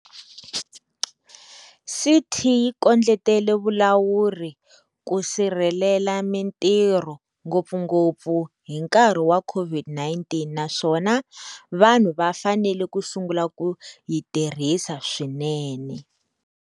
CT yi kondletela vulawuri ku sirhelela mitirho, ngopfungopfu hi nkarhi wa COVID-19, naswona vanhu va fanele ku sungula ku yi tirhisa swinene,